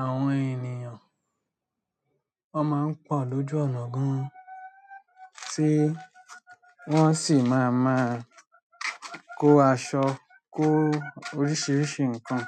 àwọn ènìyàn máa ń pọ̀ lójú ọ̀nà gan, tí wọ́n sì máa máa kó aṣọ, kó oríṣiríṣi nǹkan.